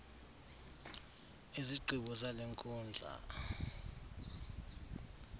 izigqibo zale nkundla